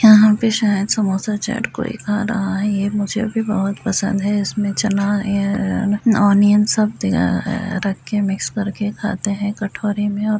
यहाँ पे शायद समोसा चाट कोई खा रहा है ये मुझे भी बहुत पसंद है इसमें चना है अ अ ऑनियन सब दिखा रखे है मिक्स करके खाते है कटोरी में और --